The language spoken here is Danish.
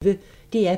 DR P1